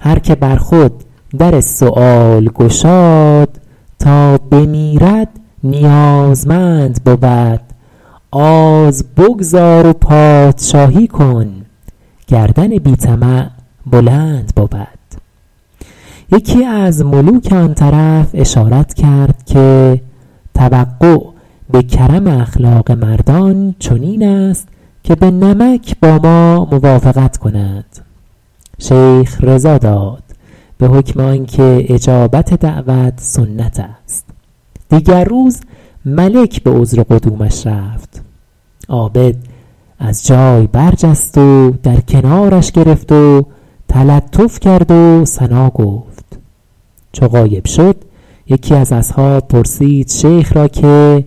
هر که بر خود در سؤال گشاد تا بمیرد نیازمند بود آز بگذار و پادشاهی کن گردن بی طمع بلند بود یکی از ملوک آن طرف اشارت کرد که توقع به کرم اخلاق مردان چنین است که به نمک با ما موافقت کنند شیخ رضا داد به حکم آن که اجابت دعوت سنت است دیگر روز ملک به عذر قدومش رفت عابد از جای برجست و در کنارش گرفت و تلطف کرد و ثنا گفت چو غایب شد یکی از اصحاب پرسید شیخ را که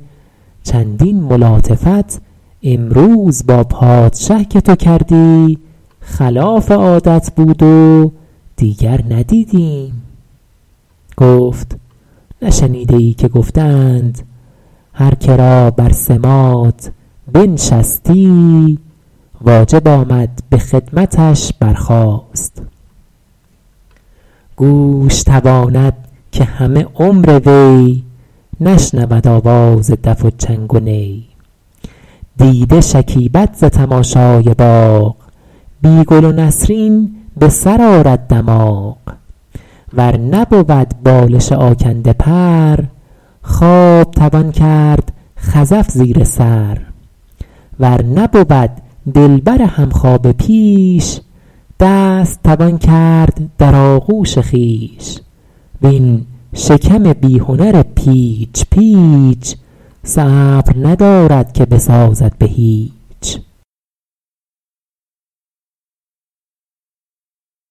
چندین ملاطفت امروز با پادشه که تو کردی خلاف عادت بود و دیگر ندیدیم گفت نشنیده ای که گفته اند هر که را بر سماط بنشستی واجب آمد به خدمتش برخاست گوش تواند که همه عمر وی نشنود آواز دف و چنگ و نی دیده شکیبد ز تماشای باغ بی گل و نسرین به سر آرد دماغ ور نبود بالش آکنده پر خواب توان کرد خزف زیر سر ور نبود دلبر همخوابه پیش دست توان کرد در آغوش خویش وین شکم بی هنر پیچ پیچ صبر ندارد که بسازد به هیچ